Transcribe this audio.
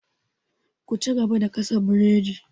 Ku cigaba da gasa burodin!